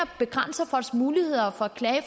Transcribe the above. begrænser folks muligheder for at klage i